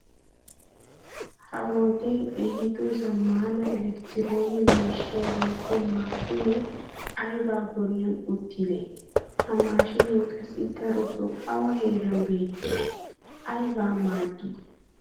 Ha wodee ehiido zammana elekittiroonee miishshay woykko maashinee aybaa bollan uttidee? Ha maashinee qassi darotoo awa heeran beettii? Aybaa maaddii?